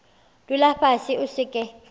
dula fase o se ke